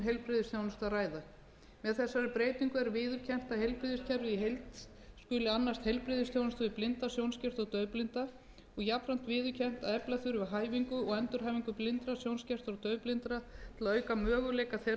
að ræða með þessari breytingu er viðurkennt að heilbrigðiskerfið í heild annast heilbrigðisþjónustu við blinda sjónskerta og daufblinda en að skortur er á hæfingu og endurhæfingu fyrir